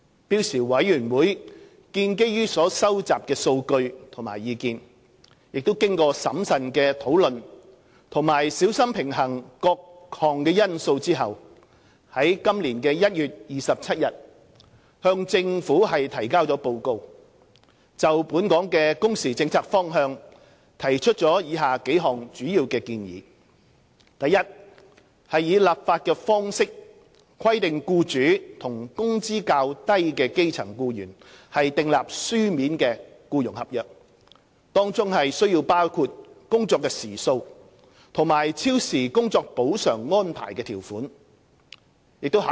標時委員會建基於所收集的數據及意見，經審慎討論及小心平衡各因素後，於今年1月27日向政府提交報告，就本港工時政策方向提出以下數項主要建議： i 以立法方式規定僱主與工資較低的基層僱員訂立書面僱傭合約，當中須包括工作時數及超時工作補償安排的條款。